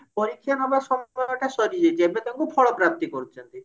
ପରୀକ୍ଷା ନବା ସମୟଟା ସରିଯାଇଛି ଏବେ ତାଙ୍କୁ ଫଳପ୍ରାପ୍ତି କରୁଛନ୍ତି